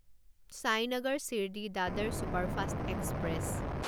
Sainagar Shirdi Dadar superfast express